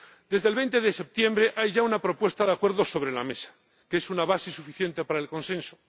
Desde el 20 de septiembre hay ya una propuesta de acuerdo sobre la mesa, que es una base suficiente para el consenso.